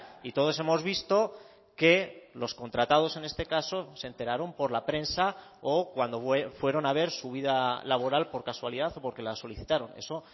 y todos hemos visto que los contratados en este caso se enteraron por la prensa o cuando fueron a ver su vida laboral por casualidad o porque la solicitaron eso